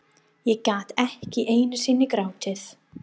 Ég gat ekki einu sinni grátið.